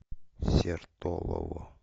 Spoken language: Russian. сертолово